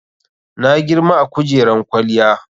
Na girma a kujeran kwaliyya.